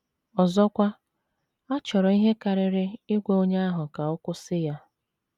Ọzọkwa, a chọrọ ihe karịrị ịgwa onye ahụ ka ọ kwụsị ya.